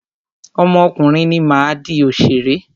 Ọmọ ọkùnrin mi máa di òṣèré.